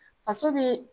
Faso bɛ